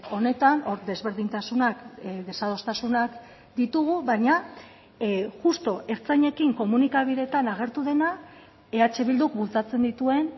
honetan hor desberdintasunak desadostasunak ditugu baina justu ertzainekin komunikabideetan agertu dena eh bilduk bultzatzen dituen